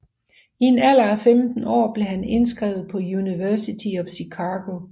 I en alder af 15 år blev han indskrevet på University of Chicago